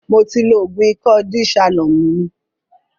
Mó ti lò oògùn ìkọ́ De-shalom mí